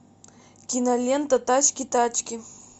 кинолента тачки тачки